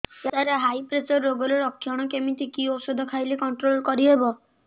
ସାର high pressure ରୋଗର ଲଖଣ କେମିତି କି ଓଷଧ ଖାଇଲେ କଂଟ୍ରୋଲ କରିହେବ